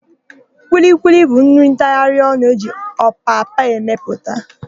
Kwilikwili bụ nri ntagharịonụ e ji ọpapa emepụta.